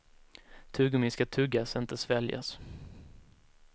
Tuggummi ska tuggas, inte sväljas.